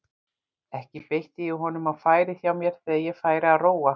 Ekki beitti ég honum á færið hjá mér þegar ég færi að róa.